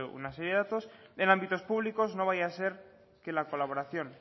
una serie de datos en ámbitos públicos no vaya a ser que la colaboración